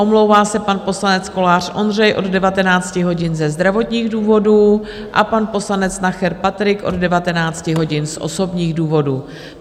Omlouvá se pan poslanec Kolář Ondřej od 19 hodin ze zdravotních důvodů a pan poslanec Nacher Patrik od 19 hodin z osobních důvodů.